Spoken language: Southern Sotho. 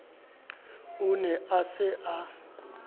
o ne a sa a